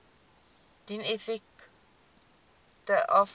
dien effekte aflê